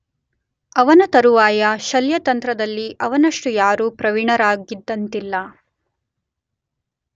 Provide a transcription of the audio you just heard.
ಅವನ ತರುವಾಯ ಶಲ್ಯತಂತ್ರದಲ್ಲಿ ಅವನಷ್ಟು ಯಾರೂ ಪ್ರವೀಣರಾಗಿದ್ದಂತಿಲ್ಲ.